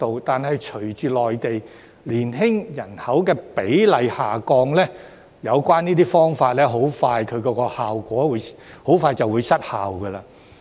但是，隨着內地年輕人口比例下降，有關方法的效果很快便會失效。